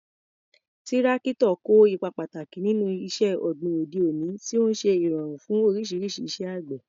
Tírákítọ̀ kó ipa pàtàkì nínú iṣẹ́ ọ̀gbìn òde òní, tí ó ń ṣe ìrọ̀rùn fún oríṣiríṣi iṣẹ́ àgbẹ̀.